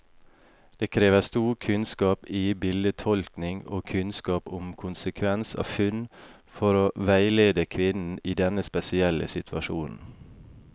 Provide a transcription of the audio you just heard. Det krever stor kunnskap i bildetolkning og kunnskap om konsekvens av funn, for å veilede kvinnen i denne spesielle situasjonen.